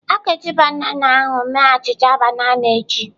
A ga-eji banana ahụ mee achịcha banana echi.